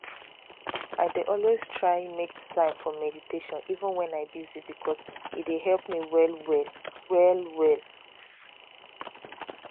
i dey always try make time for meditation even wen i busy because e dey help me well well. well well.